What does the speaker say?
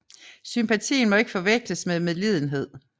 Sympatien må ikke forveksles med medlidenhed